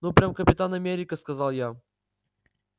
ну прямо капитан америка сказал я